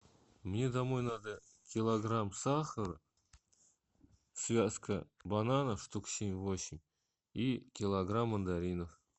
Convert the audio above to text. мне домой надо килограмм сахара связка бананов штук семь восемь и килограмм мандаринов